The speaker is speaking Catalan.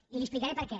i li explicaré per què